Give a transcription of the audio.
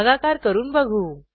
भागाकार करून बघू